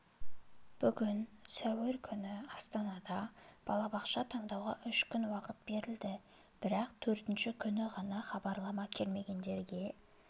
биыл сәуір күні астанада балабақша таңдауға үш күн уақыт берілді бірақ төртінші күні ғана хабарлама келмегендерге